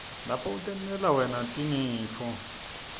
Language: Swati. lapho utentela wena tinifo